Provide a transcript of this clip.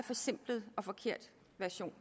forsimplet og forkert version